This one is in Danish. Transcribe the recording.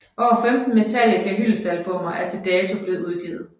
Over 15 Metallica hyldestalbummer er til dato blevet udgivet